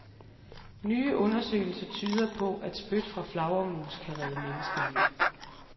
Nye undersøgelser tyder på, at spyt fra flagermus kan redde menneskeliv.